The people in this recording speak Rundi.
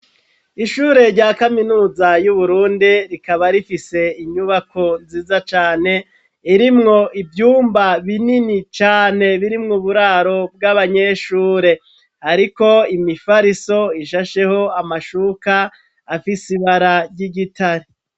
Ishure rya kaminuza y'Uburundi, rikaba rifise inyubako nziza cane irimwo ivyumba binini cane, birimwo uburaro bw'abanyeshure. Hariko imifariso ishasheho amashuka afise ibara ry'igitare.